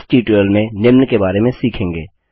इस ट्यूटोरियल में निम्न के बारे में सीखेंगे